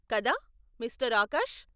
కదా, మిస్టర్ ఆకాష్?